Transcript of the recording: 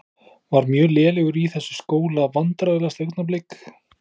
Var mjög lélegur í þessu skóla Vandræðalegasta augnablik?